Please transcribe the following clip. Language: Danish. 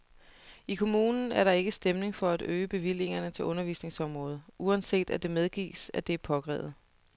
I kommunen er der ikke stemning for at øge bevillingerne til undervisningsområdet, uanset at det medgives, at det er påkrævet.